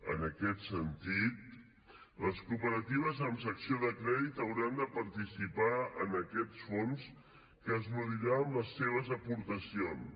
en aquest sentit les cooperatives amb secció de crèdit hauran de participar en aquests fons que es nodriran amb les seves aportacions